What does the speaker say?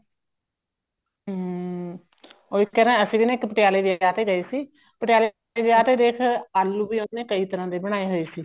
ਹਮ ਉਹੀ ਤਾਂ ਕਹਿ ਰਿਹਾ ਅਸੀਂ ਪਟਿਆਲੇ ਵਿਆਹ ਤੇ ਗਏ ਸੀ ਪਟਿਆਲੇ ਵਿਆਹ ਤੇ ਦੇਖ ਆਲੂ ਵੀ ਉਹਨਾ ਨੇ ਕਈ ਤਰ੍ਹਾਂ ਦੇ ਬਣਾਏ ਹੋਏ ਸੀ